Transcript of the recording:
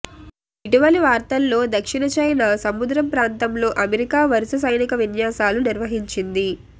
ఇటీవలి వారాల్లో దక్షిణ చైనా సముద్రం ప్రాంతంలో అమెరికా వరుస సైనిక విన్యాసాలు నిర్వహించింది